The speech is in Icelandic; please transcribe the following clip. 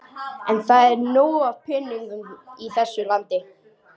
En það er til nóg af peningum í þessu landi.